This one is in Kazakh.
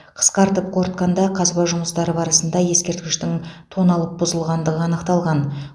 қысқартып қорытқанда қазба жұмыстары барысында ескерткіштің тоналып бұзылғандығы анықталған